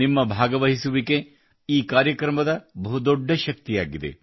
ನಿಮ್ಮ ಭಾಗವಹಿಸುವಿಕೆ ಈ ಕಾರ್ಯಕ್ರಮದ ಬಹು ದೊಡ್ಡ ಶಕ್ತಿಯಾಗಿದೆ